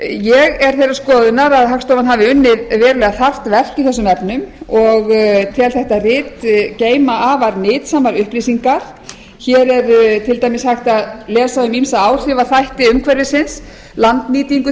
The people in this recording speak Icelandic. ég er þeirrar skoðunar að hagstofan hafi unnið verulega þarft verk í þessum efnum og tel þetta rit geyma afar nytsamar upplýsingar hér er til dæmis hægt að lesa um ýmsa áhrifaþætti umhverfisins landnýtingu